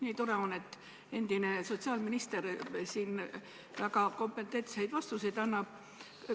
Nii tore on, et endine sotsiaalminister siin väga kompetentseid vastuseid annab.